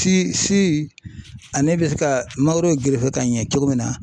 si ale bɛ se ka mangoro gerefe ka ɲɛ cogo min na